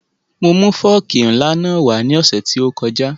Mo mu fọ́ọ̀kì ńlá náà wá lé ní ọ̀sẹ̀ tí ó kọjá